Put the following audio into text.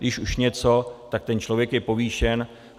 Když už něco, tak ten člověk je povýšen.